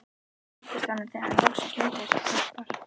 Ég kynntist honum þegar hann loksins leitaði sér hjálpar.